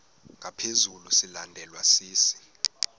ngaphezu silandelwa sisi